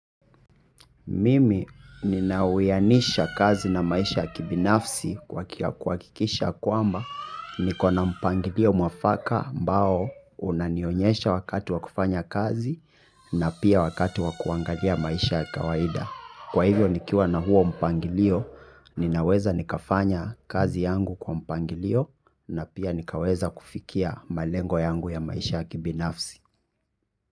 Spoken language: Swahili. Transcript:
Mimi ninauwianisha kazi na maisha ya kibinafsi kuhakikisha kwamba niko na mpangilio mwafaka ambao unanionyesha wakati wa kufanya kazi na pia wakati wa kuangalia maisha ya kawaida. Kwa hivyo nikiwa na huo mpangilio, ninaweza nikafanya kazi yangu kwa mpangilio na pia nikaweza kufikia malengo yangu ya maisha ya kibinafsi.